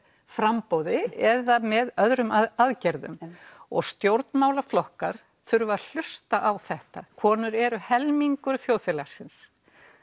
framboði eða með öðrum aðgerðum og stjórnmálaflokkar þurfa að hlusta á þetta konur eru helmingur þjóðfélagsins